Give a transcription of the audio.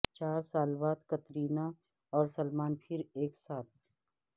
چار سال بعد کترینہ اور سلمان پھر ایک ساتھ